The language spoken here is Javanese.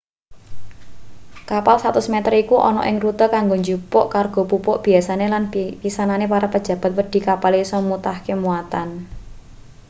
kapal 100 meter iku ana ing rute kanggo njupuk kargo pupuk biasane lan pisanane para pejabat wedi kapale isa mutahke muatan